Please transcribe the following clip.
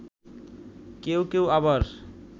কেউ কেউ আবার